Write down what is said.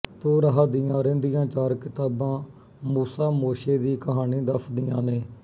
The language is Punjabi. ਤੋਰਾਹ ਦੀਆਂ ਰਹਿੰਦੀਆਂ ਚਾਰ ਕਿਤਾਬਾਂ ਮੂਸਾ ਮੋਸ਼ੇ ਦੀ ਕ੍ਹਾਣੀ ਦੱਸਦੀਆਂ ਨੇ